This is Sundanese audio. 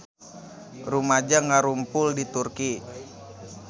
Rumaja ngarumpul di Turki